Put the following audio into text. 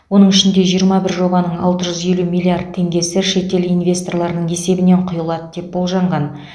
оның ішінде жиырма бір жобаның алты жүз елу миллиард теңгесі шетел инвесторларының есебінен құйылады деп болжанған